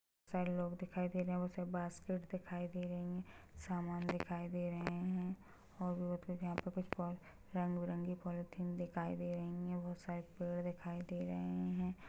छ: लोग दिखाई दे रहे है वो सब बास्केट दिखाई दे रही है सामान दिखाई दे रहे है और भी बहुत यहाँ पे कुछ पो- रंग बिरंगी पोलिथीन दिखाई दे रही हैं बहुत सारे पेड़ दिखाई दे रहे हैं।